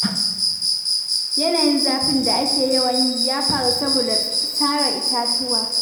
Yanayin zafin da ake yawan yi, ya faru saboda sare itatuwa